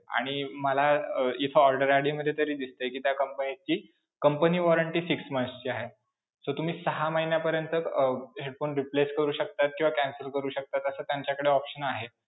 आणि मला अं इथं order ID मध्ये तरी दिसतंय कि त्या company ची company warranty six months ची आहे. so तुम्ही सहा महिन्यापर्यंत अं headphone replace करू शकता किंवा cancel करू शकता, असा त्यांच्याकडे option आहे.